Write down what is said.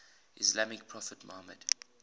islamic prophet muhammad